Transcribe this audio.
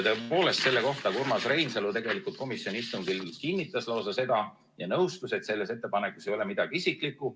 Seda Urmas Reinsalu tegelikult komisjoni istungil kinnitas ja nõustus, et selles ettepanekus ei ole midagi isiklikku.